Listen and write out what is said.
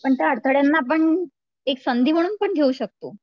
पण त्या अडथळ्यांना आपण एक संधी म्हणून पण घेऊ शकतो